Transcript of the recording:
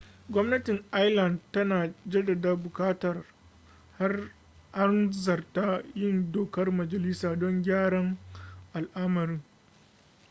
gwamnatin ireland tana jaddada buƙatar hanzarta yin dokar majalisa don gyara al'amarin